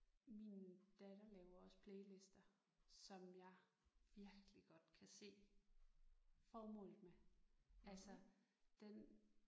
Min datter laver også playlister som jeg virkelig godt kan se formålet med altså den